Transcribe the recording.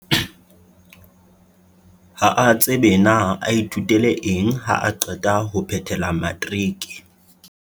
Ha a tsebe na a ithutele eng haa qeta ho phethela matriki.